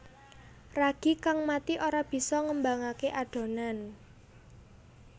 Ragi kang mati ora bisa ngembangaké adonan